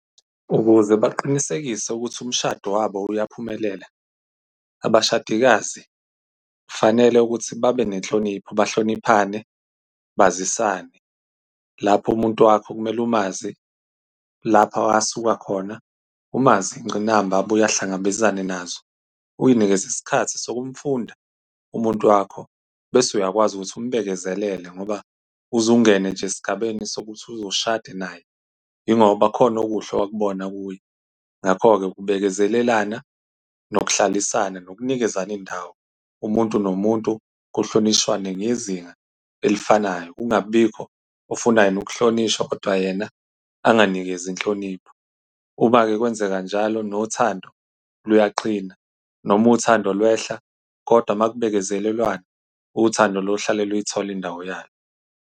Ukuze baqinisekise ukuthi umshado wabo uyaphumelela, abashadikazi kufanele ukuthi babe nenhlonipho bahloniphane, bazisane. Lapho umuntu wakho kumele umazi lapha asuka khona. Umazi iy'ngqinamba abuye ahlangabezane nazo. Uy'nikeze isikhathi sokumfunda umuntu wakho bese uyakwazi ukuthi umbekezelele, ngoba, uzungene nje esigabeni sokuthi uzushade naye, yingoba kukhona okuhle wakubona kuye. Ngakho-ke, ukubekezelelana nokuhlalisana nokunikezana izindawo, umuntu nomuntu, kuhlonishwane ngezinga elifanayo. Kungabibikho ofuna yena ukuhlonishwa, kodwa yena unganikezi inhlonipho. Uma-ke kwenzeka njalo, nothando luyaqina. Noma uthando lwehla, kodwa uma kubekezelelwana, uthando luyohlala luyithola indawo yalo.